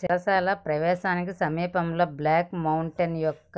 చెరసాల ప్రవేశానికి సమీపంలో బ్లాక్ మౌంటైన్ యొక్క